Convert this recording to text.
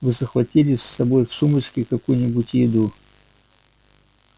вы захватили с собой в сумочке какую-нибудь еду